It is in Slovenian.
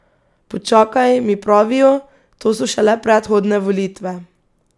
Počakaj, mi pravijo, to so šele predhodne volitve.